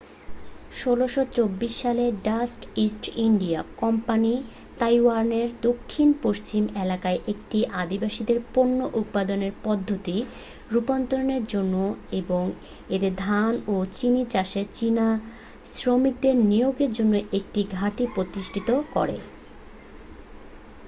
1624 সালে Dutch East India company তাইওয়ানের দক্ষিণ পশ্চিম এলাকায় একটি আদিবাসীদের পণ্য উৎপাদনের পদ্ধতির রুপান্তরের জন্য এবং এদের ধান ও চিনি চাষে চীনা শ্রমিকদের নিয়োগের জন্য একটি ঘাঁটি প্রতিষ্ঠা করে